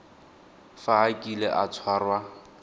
fa a kile a tshwarwa